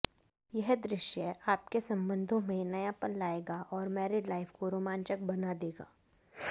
यह दृश्य आपके संबंधों में नयापन लाएगा और मैरिड लाइफ को रोमांचक बना देगा